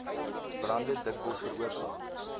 brande dikwels veroorsaak